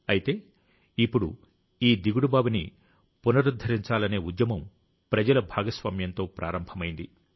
అయితే ఇప్పుడు ఈ దిగుడుబావిని పునరుద్ధరించాలనే ఉద్యమం ప్రజల భాగస్వామ్యంతో ప్రారంభమైంది